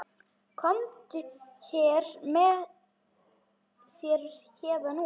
Komdu þér héðan út.